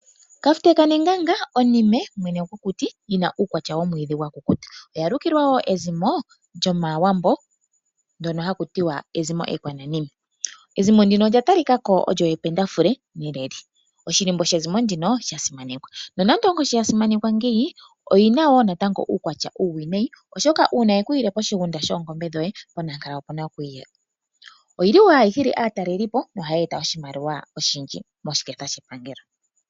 Kafute kanenganga, onime, mwene gwokuti, yi na uukwatya womwiidhi wakukuta. Oya lukilwa wo ezimo lyomaawambo, ndyono haku tiwa ezimo ekwananime. Ezimo ndino olya tali kako olyo ependafule neleli. Oshilimbo shezimo ndino osha simanekwa. Nonando onkoshi yasimanekwa ngeyi, oyi na wo natango uukwatya uuwinayi, oshoka uuna yeku yile poshigunda shoongombe dhoye, ponankala opuna kwiiya. Oyi li wo hayi hili aatalelipo noha yeeta wo oshimaliwa oshindji moshiketha shepangelo.